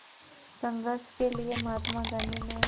संघर्ष के लिए महात्मा गांधी ने